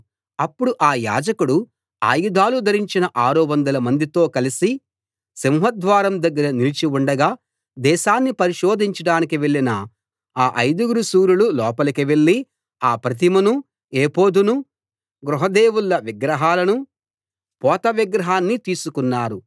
అప్పుడు ఆ యాజకుడు ఆయుధాలు ధరించిన ఆరు వందలమందితో కలసి సింహద్వారం దగ్గర నిలిచి ఉండగా దేశాన్ని పరిశోధించడానికి వెళ్ళిన ఆ ఐదుగురు శూరులు లోపలికి వెళ్ళి ఆ ప్రతిమనూ ఎఫోదునూ గృహ దేవుళ్ళ విగ్రహాలనూ పోత విగ్రహాన్నీ తీసుకున్నారు